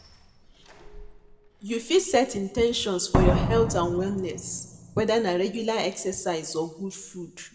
You fit set in ten tions for your health and wellness, whether na regular exercise or good food.